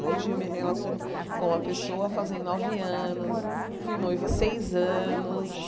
Hoje Hum eu me relaciono com uma pessoa fazem nove anos, Hum fui noiva seis anos.